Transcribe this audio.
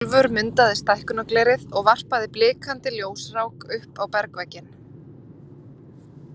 Úlfur mundaði stækkunarglerið og varpaði blikandi ljósrák upp á bergvegginn.